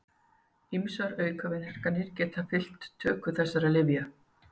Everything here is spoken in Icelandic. Ýmsar aukaverkanir geta fylgt töku þessara lyfja.